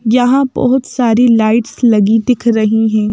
यहां बहुत सारी लाइट्स लगी दिख रही हैं।